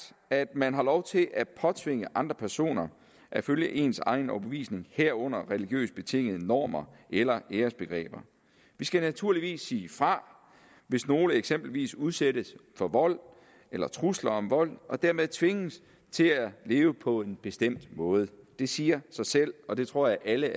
at man har lov til at påtvinge andre personer at følge ens egen overbevisning herunder religiøst betingede normer eller æresbegreber vi skal naturligvis sige fra hvis nogen eksempelvis udsættes for vold eller trusler om vold og dermed tvinges til at leve på en bestemt måde det siger sig selv og det tror jeg alle